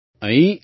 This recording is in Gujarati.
અહીં ઈ